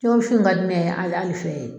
Jɛgɛwusu in ka di ne ye ali fɛ ye.